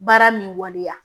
Baara min waleya